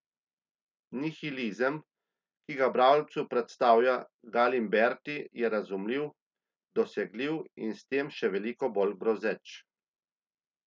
Nihilizem, ki ga bralcu predstavlja Galimberti, je razumljiv, dosegljiv in s tem še veliko bolj grozeč.